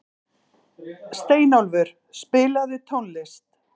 Steinólfur, spilaðu tónlist.